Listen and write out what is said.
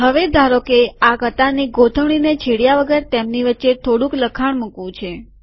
હવે ધારોકે આ કતારની ગોઠવણીને છેડ્યા વગર તેમની વચ્ચે થોડુક લખાણ મુકવું છે